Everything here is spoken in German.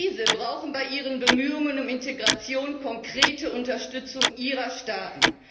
Diese brauchen bei ihren Bemühungen um Integration konkrete Unterstützung ihrer Staaten.